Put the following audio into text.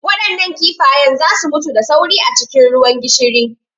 Waɗannan kifayen za su mutu da sauri a cikin ruwan gishiri.